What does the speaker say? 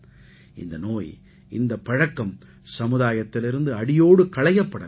இந்த நோய் இந்தப் பழக்கம் சமுதாயத்திலிருந்து அடியோடு களையப்பட வேண்டும்